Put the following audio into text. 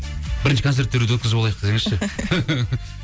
бірінші концерттерді өткізіп алайық десеңізші